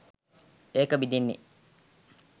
ඒක බිඳෙන්නෙ.